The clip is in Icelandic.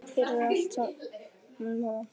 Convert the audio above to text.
Takk fyrir allt saman, mamma.